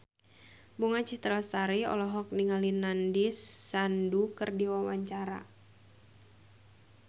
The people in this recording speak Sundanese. Bunga Citra Lestari olohok ningali Nandish Sandhu keur diwawancara